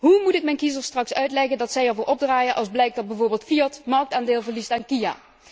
Hoe moet ik mijn kiezers straks uitleggen dat zij ervoor opdraaien als blijkt dat bijvoorbeeld Fiat marktaandeel verliest aan Kia?